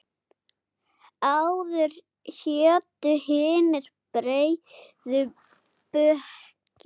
Áður hétu hinir breiðu bökin.